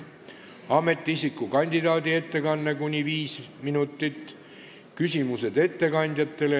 Ametiisiku kandidaadi ettekanne on kuni 5 minutit.